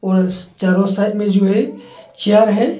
और चारों साइड मे जो है चेयर है।